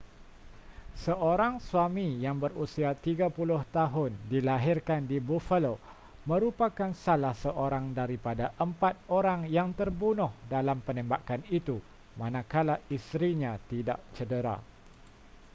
seorang suami yang berusia 30 tahun dilahirkan di buffalo merupakan salah seorang daripada empat orang yang terbunuh dalam penembakan itu manakala isterinya tidak cedera